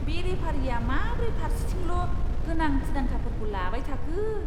बे रेफारिआ माब्रै फार्सेथिल' गोनां थिरांथाफोरखौ लाबाय थाखो!